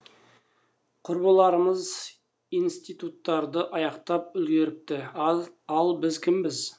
құрбыларымыз институттарды аяқтап үлгеріпті ал біз кімбіз